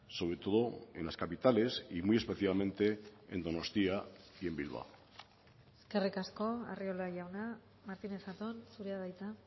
sobre todo en las capitales y muy especialmente en donostia y en bilbao eskerrik asko arriola jauna martínez zatón zurea da hitza